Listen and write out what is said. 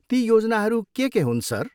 ती योजनाहरू के के हुन्, सर?